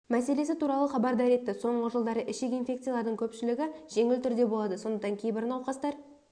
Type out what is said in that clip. мәселесі туралы хабардар етті соңғы жылдары ішек инфекциялардың көпшілігі жеңіл түрде болады сондықтан кейбір науқастар